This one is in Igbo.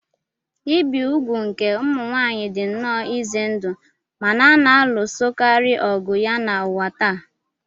Ibi úgwù nke ụmụ nwaanyị dị nnọọ ize ndụ ma na a na-alụsokarị ọgụ ya n'ụwa taa.